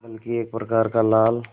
बल्कि एक प्रकार का लाल